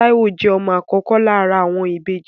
Táíwò jẹ́ ọmọ àkọ́kọ́ lára àwọn ìbejì